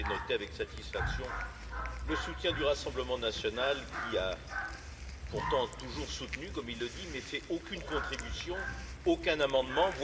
J'ai noté avec satisfaction le soutien du Rassemblement national, qui a pourtant toujours soutenu, comme il le dit, mais sans apporter aucune contribution ni déposer aucun amendement.